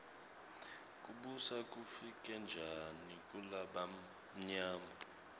kubusa kufike njani kulabamyama